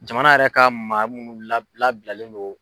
Jamana yɛrɛ ka maa minnu la labilalen no.